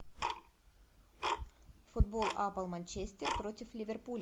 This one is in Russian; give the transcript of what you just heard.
футбол апл манчестер против ливерпуля